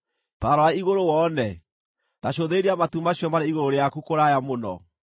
Ta rora igũrũ wone; ta cũthĩrĩria matu macio marĩ igũrũ rĩaku kũraya mũno.